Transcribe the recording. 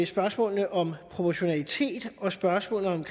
spørgsmålet om proportionalitet og spørgsmålet om